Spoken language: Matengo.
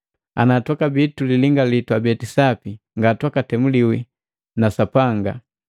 Ana twakabia tulilingali twabeti sapi ngatwakatemuliwe na Sapanga.